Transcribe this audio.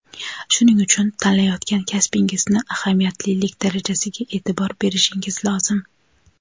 shuning uchun tanlayotgan kasbingizni ahamiyatlilik darajasiga e’tibor berishingiz lozim.